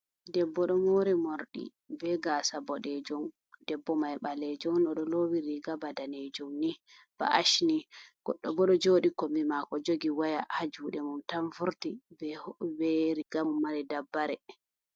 Debbo ɗo mori morɗi be gasa boɗejum. Debbo mai ɓalejun oɗo lowi riga ba danejum ni ba ash ni. Goɗɗo bo ɗo joɗi kombi mako jogi waya ha juɗe mum tan vurti be riga mumari dabbare.